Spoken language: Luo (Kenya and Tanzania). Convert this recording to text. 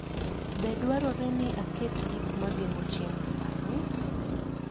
Be dwarore ni aket gik ma geng’o chieng’ sani?